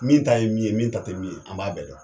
Min ta ye min ye min ta te min ye an b'a bɛɛ dɔn